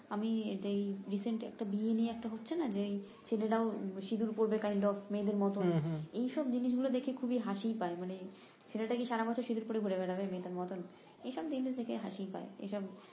আমি এই একটা বিয়ে নিয়ে একটা হচ্ছে না যে ছেলেরাও সিঁদুর পরবে মেয়েদের মতন এইসব জিনিস দেখে খুবই হাসি পায় ছেলেটা কি সারা বছর সিঁদুর পরে ঘুরেবেড়াবে মেয়েদের মতন এইসব জিনিস দেখে হাসিই পায়